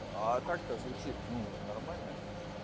а так-то звучит ну нормально